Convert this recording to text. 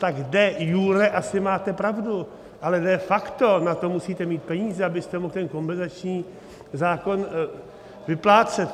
Tak de iure asi máte pravdu, ale de facto na to musíte mít peníze, abyste mohl ten kompenzační zákon vyplácet.